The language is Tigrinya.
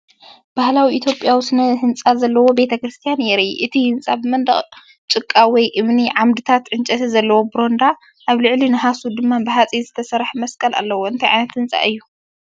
ባህላዊ ኢትዮጵያዊ ስነ ህንጻ ዘለዎ ቤተ ክርስቲያን የርኢ። እቲ ህንጻ ብመንደቕ ጭቃ ወይ እምኒ፡ ዓምድታት ዕንጨይቲ ዘለዎ በረንዳ፡ ኣብ ልዕሊ ናሕሱ ድማ ብሓጺን ዝተሰርሐ መስቀል ኣለዎ። እንታይ ዓይነት ህንጻ እዩ?